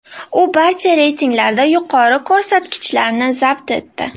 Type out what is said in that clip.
U barcha reytinglarda yuqori ko‘rsatkichlarni zabt etdi.